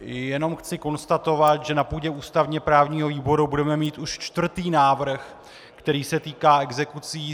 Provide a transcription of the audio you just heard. Jenom chci konstatovat, že na půdě ústavně právního výboru budeme mít už čtvrtý návrh, který se týká exekucí.